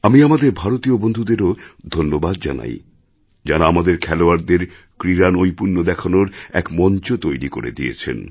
আমি আমাদের ভারতীয় বন্ধুদেরও ধন্যবাদ জানাই যাঁরা আমাদের খেলোয়াড়দের ক্রীড়ানৈপুণ্য দেখানোর এক মঞ্চ তৈরি করে দিয়েছেন